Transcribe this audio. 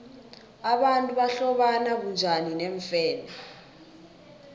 abantu bahlobana bunjani neemfene